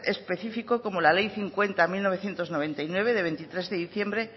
específico como la ley cincuenta barra mil novecientos noventa y nueve de veintitrés de diciembre